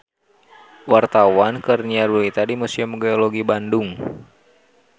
Wartawan keur nyiar berita di Museum Geologi Bandung